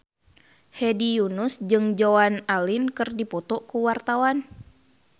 Hedi Yunus jeung Joan Allen keur dipoto ku wartawan